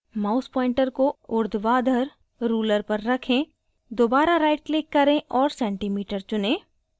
mouse pointer को ऊर्ध्वाधर ruler पर रखें दोबारा right click करें और centimeter चुनें